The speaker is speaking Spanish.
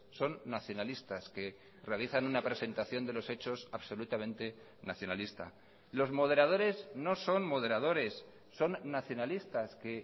son nacionalistas que realizan una presentación de los hechos absolutamente nacionalista los moderadores no son moderadores son nacionalistas que